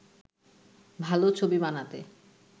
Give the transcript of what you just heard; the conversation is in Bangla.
ভালো ছবি বানাতে